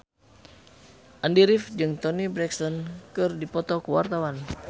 Andy rif jeung Toni Brexton keur dipoto ku wartawan